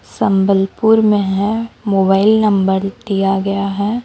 संबलपुर में है mobile number दिया गया है।